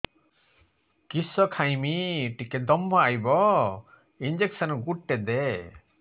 କିସ ଖାଇମି ଟିକେ ଦମ୍ଭ ଆଇବ ଇଞ୍ଜେକସନ ଗୁଟେ ଦେ